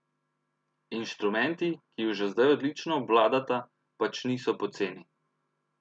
Inštrumenti, ki ju že zdaj odlično obvladata, pač niso poceni.